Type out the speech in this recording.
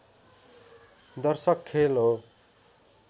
दर्शक खेल हो